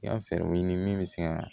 I ka fɛɛrɛw ɲini min bɛ se ka